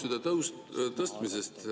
1200–2100 vahemikus see eksisteerib.